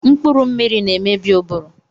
Mkpụrụ mmiri na-emebi ụbụrụ